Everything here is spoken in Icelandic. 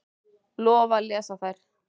Lofa að lesa þær.